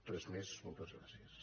res més moltes gràcies